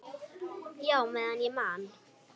Já, meðan ég man.